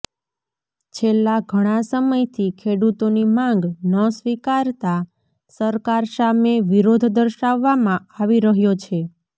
છેલ્લા ઘણા સમયથી ખેડૂતોની માંગ ન સ્વીકારતા સરકાર સામે વિરોધ દર્શાવવામાં આવી રહ્યો છે